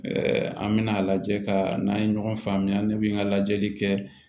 an mɛna a lajɛ ka n'an ye ɲɔgɔn faamuya ne bi n ka lajɛli kɛ